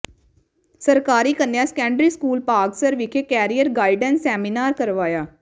ਸਰਕਾਰੀ ਕੰਨਿਆ secondary school Bhagsar ਵਿਖੇ ਕੈਰੀਅਰ ਗਾਈਡੈਂਸ ਸੈਮੀਨਾਰ ਕਰਵਾਇਆ